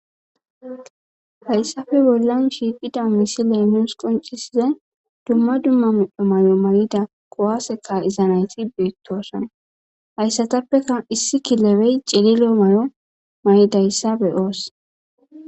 Hayssafe bollan shiiqida misi leenos qoncisiza dumma dumma medho malo may'ida qowaseka izanayti beettosona hayssatappeka issi kilebey celilo malo may'idayssa be oos.